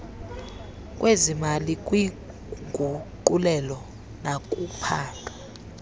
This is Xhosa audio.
lwezimali kwiinguqulelo nakuphando